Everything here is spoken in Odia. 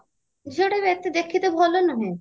ଝିଅଟାବି ଅଟେ ଦେଖିତେ ଭଲ ନୁହେଁ